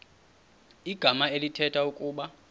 igama elithetha ukuba